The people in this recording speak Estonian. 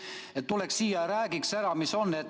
Oleks vaja, et ta tuleks siia ja räägiks ära, mis seis on.